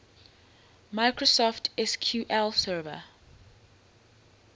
microsoft sql server